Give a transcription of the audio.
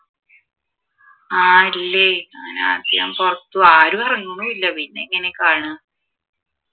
ആഹ് ഇല്ലേ അങ്ങനെ ആരും ഇറങ്ങും ഇല്ല പിന്നെയെങ്ങനെയാണ് കാണാ?